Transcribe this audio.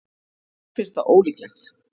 Mér finnst það ólíklegt.